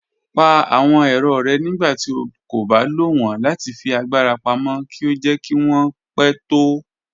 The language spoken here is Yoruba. Pà àwọn èrọ́ rẹ̀ nígbàtí ó kò bá lọ wọn láti fi agbara pámọ̀ kí ó jẹ̀ kí wọn pẹ̀ tó.